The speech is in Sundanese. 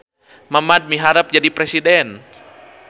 Mamad miharep jadi presiden